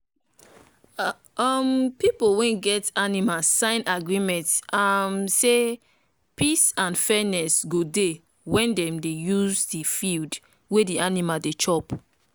um people wey get animal sign agreement um say peace and fairness go dey when dem dey use the field wey the animal dey chop